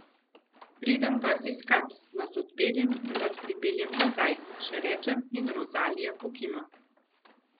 Vas pridem iskat, vas odpeljem in vas pripeljem nazaj, še rečem in Rozalija pokima.